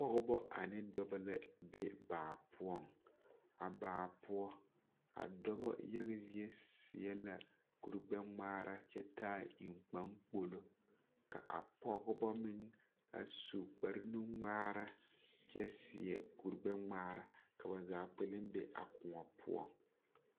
Pɔgebɔ ane dɔbɔ mine la be baa poɔ a baa poɔ a dɔbɔ yaga zie seɛ la kuri gbɛŋmaara kyɛ taa eŋkpakpolo ka a pɔgebɔ meŋ a su kpare nu ŋmaara kyɛ seɛ kuri gbɛŋmaara ka ba zaa kpɛlɛm be a koɔ poɔ.